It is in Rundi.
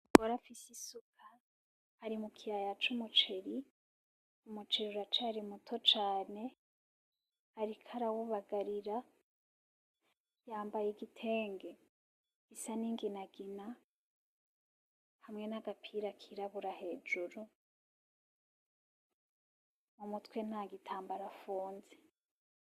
Umugore afise isuka ari mukiyaya c'umuceri, umuceri uracari muto cane ariko arawubagarira yambaye igitenge gisa n'inginagina hamwe n'agapira kirabura hejuru mumutwe ntagitambaro afunze.